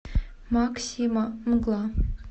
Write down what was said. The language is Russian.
мак сима мгла